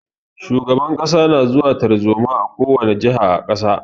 Shugaban kasa na zuwa tarzoma a ko wani jiha a kasa.